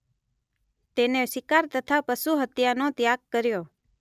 તેને શિકાર તથા પશુ હત્યાનો ત્યાગ કર્યો